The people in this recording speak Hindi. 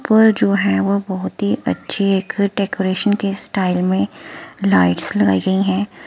पर जो हैं वह बहोत ही अच्छी एक एकडेकोरेशन के स्टाइल में लाइट्स लगाई गई हैं।